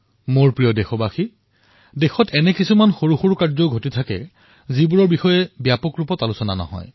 মোৰ মৰমৰ দেশবাসীসকল দেশত অনেক ভাল ব্যৱস্থা প্ৰণয়ন হৈছে যাৰ ব্যাপক চৰ্চা হোৱা নাই